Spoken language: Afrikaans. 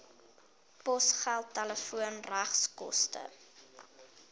posgeld telefoon regskoste